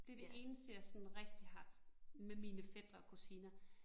Det det eneste jeg sådan rigtig har med mine fætre og kusiner